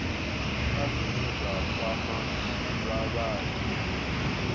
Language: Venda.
kha zwine zwa kwama vhavhali